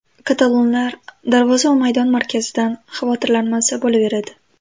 Katalonlar darvoza va maydon markazidan xavotirlanmasa bo‘laveradi.